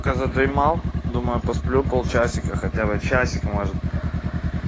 пока задремал думаю посплю пол часика хотя бы часик может